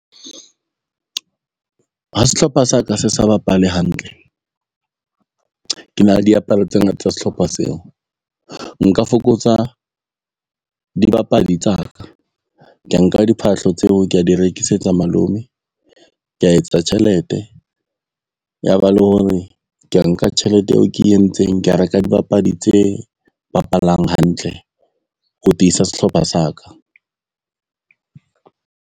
Ha sehlopha sa ka se sa bapale hantle, ke na le diaparo tsena tsa sehlopha seo. Nka fokotsa dibapadi tsa ka, kea nka diphahlo tseo ke di re rekisetsa malome. Kea etsa tjhelete, ya ba le hore kea nka tjhelete eo ke entseng ka reka dibapadi tse bapalang hantle ho tiisa sehlopha sa ka.